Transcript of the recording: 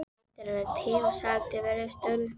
Þetta er minn tími sagði bæjarstjórinn snöggt.